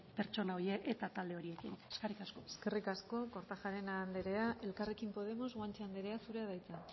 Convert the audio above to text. pertsona horiek eta talde horiekin eskerrik asko eskerrik asko kortajarena andrea elkarrekin podemos guanche andrea zurea da hitza